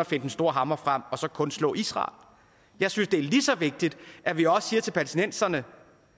at finde den store hammer frem og så kun slå israel jeg synes det er lige så vigtigt at vi også siger til palæstinenserne